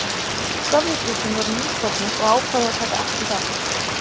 Sovétríkin voru nýstofnuð og ákváðu að taka ekki þátt.